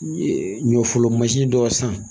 n ye ɲɔfolonmansin dɔ san